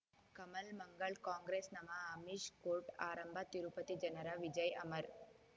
ಕಮಲ್ ಮಂಗಳ್ ಕಾಂಗ್ರೆಸ್ ನಮಃ ಅಮಿಷ್ ಕೋರ್ಟ್ ಆರಂಭ ತಿರುಪತಿ ಜನರ ವಿಜಯ್ ಅಮರ್